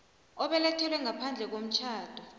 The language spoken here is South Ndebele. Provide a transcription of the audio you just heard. obelethelwe ngaphandle komtjhado